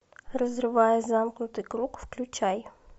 разрывая замкнутый круг включай